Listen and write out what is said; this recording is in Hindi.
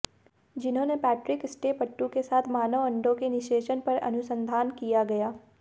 जिन्होंने पैट्रिक स्टेपटू के साथ मानव अण्डों के निषेचन पर अनुसंधान किया गया